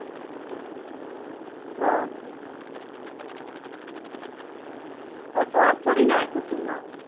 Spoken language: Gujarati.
શ્વાસ ચડી જાય તો શું વાંચી